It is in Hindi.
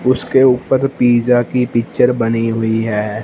उसके ऊपर पिज़्ज़ा की पिक्चर बनी हुई है।